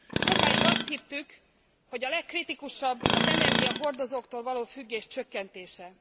Sokáig azt hittük, hogy a legkritikusabb az energiahordozóktól való függés csökkentése.